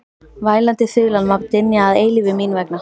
Vælandi þulan má dynja að eilífu mín vegna.